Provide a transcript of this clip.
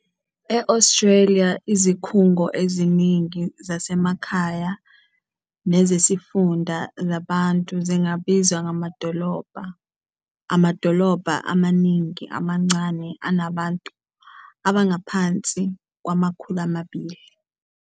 E- Australia, izikhungo eziningi zasemakhaya nezesifunda zabantu zingabizwa ngamadolobha, amadolobha amaningi amancane anabantu abangaphansi kwama-200.